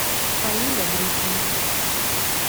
фаиля гришина